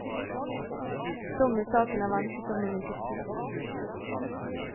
Dom i saken er ventet om en ukes tid.